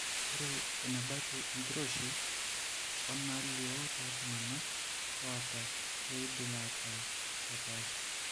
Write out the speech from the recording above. Ore enebaiki oenkiroshi oonaalio tooltung'anak oata keidim aataa kepaasha.